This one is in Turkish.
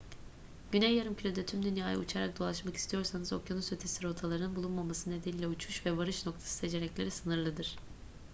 güney yarımkürede tüm dünyayı uçarak dolaşmak istiyorsanız okyanus ötesi rotaların bulunmaması nedeniyle uçuş ve varış noktası seçenekleri sınırlıdır